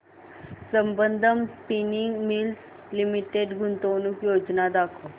Sambandam spinning mills limited गुंतवणूक योजना दाखव